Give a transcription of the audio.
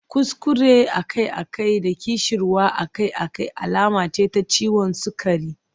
Kuskure akai-akai da ƙishirwa akai-akai alama ce ta ciwon sukari.